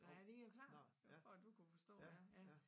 Nej det jo klart det var for du kunne forstå ja ja